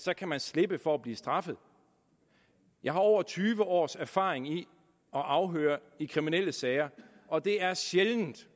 sig kan man slippe for at blive straffet jeg har over tyve års erfaring i at afhøre i kriminelle sager og det er sjældent